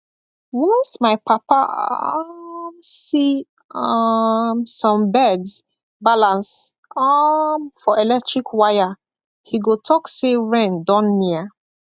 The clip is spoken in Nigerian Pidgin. once my papa um see um some birds balance um for electric wire he go talk say rain don near